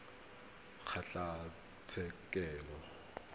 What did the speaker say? kgotlatshekelo